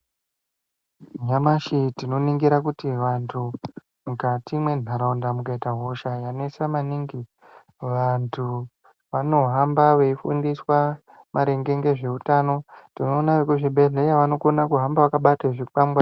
Nyamashi tinoningira kuti vantu mukati mwenharaunda mukaita hosha yanetsa maningi vantu vanohamba veifundiswa maringe ngezveutano tinoona vekuzvibhedhlera vanokona kuhamba vakabate zvikwangware .